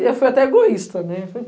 E eu fui até egoísta, né?